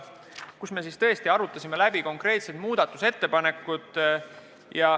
Siis me tõesti arutasime läbi konkreetsed muudatusettepanekud.